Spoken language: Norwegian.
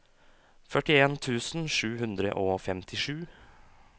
førtien tusen sju hundre og femtisju